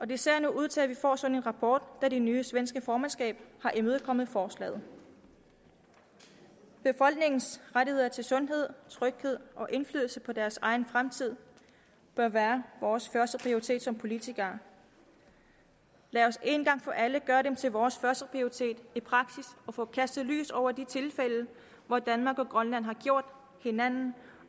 det ser nu ud til at vi får en sådan rapport da det nye svenske formandskab har imødekommet forslaget befolkningens rettigheder til sundhed tryghed og indflydelse på deres egen fremtid bør være vores førsteprioritet som politikere lad os en gang for alle gøre dem til vores førsteprioritet i praksis og få kastet lys over de tilfælde hvor danmark og grønland har gjort hinanden